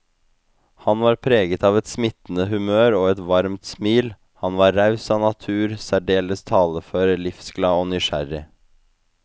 Han var preget av et smittende humør og et varmt smil, han var raus av natur, særdeles talefør, livsglad og nysgjerrig.